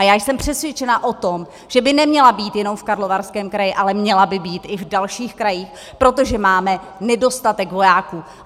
A já jsem přesvědčena o tom, že by neměla být jenom v Karlovarském kraji, ale měla by být i v dalších krajích, protože máme nedostatek vojáků.